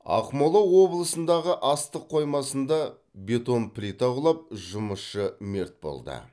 ақмола облысындағы астық қоймасында бетон плита құлап жұмысшы мерт болды